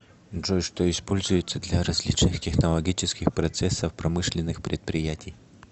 джой что используется для различных технологических процессов промышленных предприятий